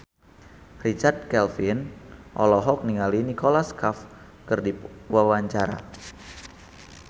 Richard Kevin olohok ningali Nicholas Cafe keur diwawancara